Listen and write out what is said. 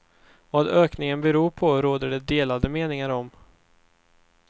Vad ökningen beror på råder det delade meningar om.